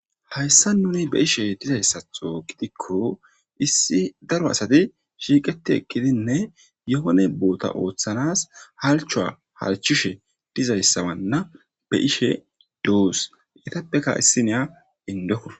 hayssa nuni be ishe dizayssatho gidikko issi daro asati shiiqeti ekkidinne yohone boota ooththanas halchoa harchishe dizayssawanna be ishe doos itappeka issineya indoko